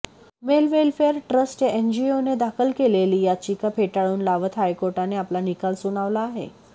mail welfare trust या एनजीओने दाखल केलेली याचिका फेटाळून लावत हायकोर्टाने आपला निकाल सुनावला आहे